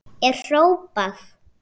er hrópað.